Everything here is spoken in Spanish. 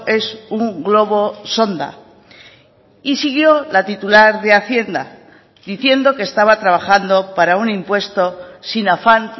es un globo sonda y siguió la titular de hacienda diciendo que estaba trabajando para un impuesto sin afán